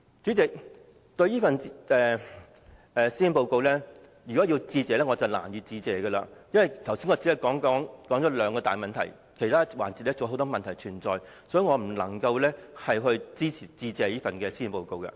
主席，對於這份施政報告，我實在難以致謝，因為我剛才只說了兩個大問題，而其他範疇還有很多問題，所以我不能支持這項致謝議案。